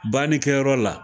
Bannikɛyɔrɔ la